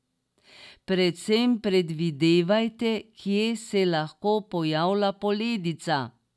Predvsem predvidevajte, kje se lahko pojavlja poledica.